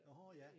Nårh ja